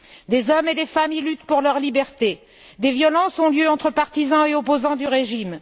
Des hommes et des femmes y luttent pour leur liberté. Des violences ont lieu entre partisans et opposants du régime.